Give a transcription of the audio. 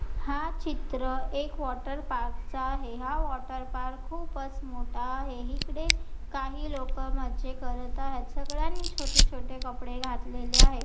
हा चित्र एक वॉटर पार्क चे आहे हा वॉटर पार्क खूपच मोठा आहे इकडे काही लोक मजे करत आहेत सगळ्यांनी छोटे छोटे कपडे घातलेले आहेत.